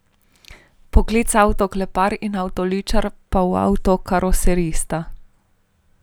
Poklica avtoklepar in avtoličar pa v avtokaroserista.